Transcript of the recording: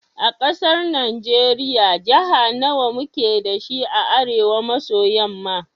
A ƙasar najiriya Jaha nawa muke dashi a arewa maso yamma?